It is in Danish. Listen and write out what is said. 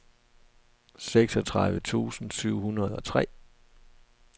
seksogtredive tusind syv hundrede og tre